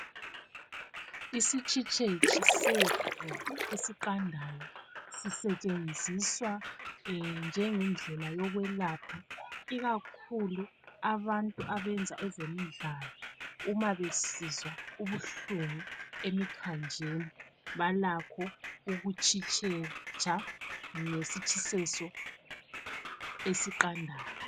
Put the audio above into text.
Isitshitsheso seqhwa esiqandayo sisetshenziswa njengendlela yokwelapha ikakhulu abantu abenza ezemidlalo uma besizwa ubuhlungu emithanjeni balakho ukutshisesa ngesitshiseso esiqandayo